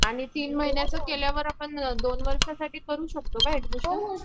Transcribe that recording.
आणि तीन महिन्याचा आपण दोन वर्षांचा करू शकतो ना?